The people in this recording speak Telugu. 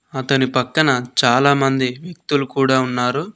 అతని పక్కన చాలామంది వ్యక్తులు కూడా ఉన్నారు.